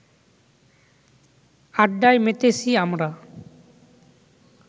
আড্ডায় মেতেছি আমরা